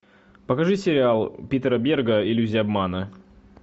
покажи сериал питера берга иллюзия обмана